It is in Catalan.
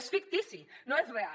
és fictici no és real